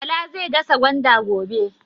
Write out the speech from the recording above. Bala zai dasa gwanda gobe.